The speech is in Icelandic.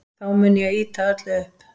Þá mun ég ýta öllu upp.